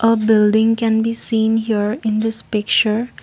a building can be seen here in this picture.